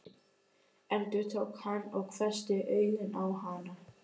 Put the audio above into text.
endurtók hann og hvessti augun á hana.